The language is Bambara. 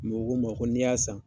Mɛ o ko n ma ko ni y'a san